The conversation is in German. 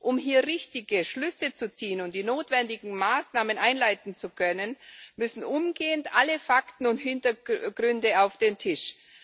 Um hier richtige Schlüsse zu ziehen und die notwendigen Maßnahmen einleiten zu können, müssen umgehend alle Fakten und Hintergründe auf den Tisch.